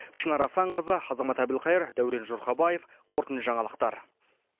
шынар асанқызы азамат әбілқайыр дәурен жұрхабаев қорытынды жаңалықтар